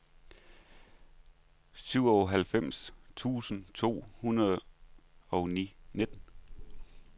syvoghalvfems tusind to hundrede og nitten